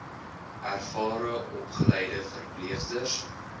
ervare opgeleide verpleegsters